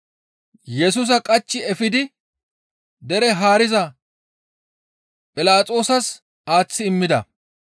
Yesusa qachchi efidi dere haariza Philaxoosas aaththi immida.